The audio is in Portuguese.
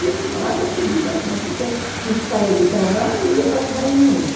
E ele dava comida a gente, porque a gente saía do trabalho e ia para as reuniões.